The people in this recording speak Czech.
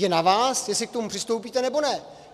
Je na vás, jestli k tomu přistoupíte, nebo ne.